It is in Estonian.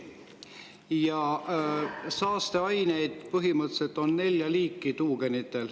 Ja saasteaineid on tuugenite puhul põhimõtteliselt nelja liiki.